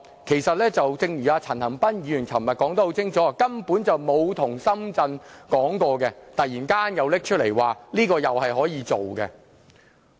其實正如陳恒鑌議員昨天說得很清楚，根本從沒有跟深圳商討，現在突然提出可以這樣做。